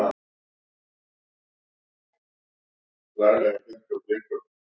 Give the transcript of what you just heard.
Það nær ekki nokkurri átt að vera svona kappklæddur í sólinni